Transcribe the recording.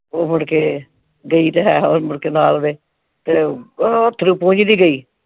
ਉਹ ਮੁੜ ਕੇ ਗਈ ਤੇ ਹੈ ਉਹਦੇ ਨਾ ਆ ਜਵੇ ਤੇ ਉਹ ਅੱਥਰੂ ਪੂੰਝਦੀ ਗਈ।